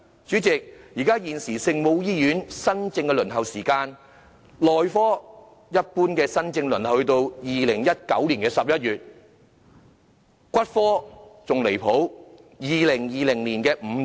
主席，現時聖母醫院的專科門診新症輪候時間，內科一般要到2019年11月；骨科更離譜，到2020年5月。